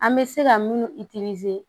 An bɛ se ka minnu